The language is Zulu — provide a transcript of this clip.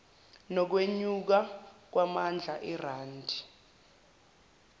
nokwenyuka kwamandla erandi